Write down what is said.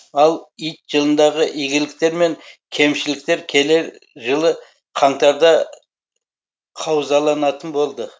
ал ит жылындағы игіліктер мен кемшіліктер келер жылы қаңтарда қаузаланатын болды